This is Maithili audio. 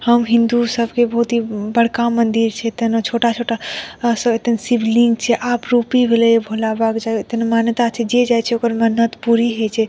हम हिन्दू सब के बहुत ही ब बड़का मंदिर छे तनो छोटा-छोटा अ स तो शिवलिंग छे आप रूपी भोला बाबा मान्यता छे जे जाइछे ओकर मन्नत पूरी होइ छे।